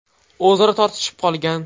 o‘zaro tortishib qolgan.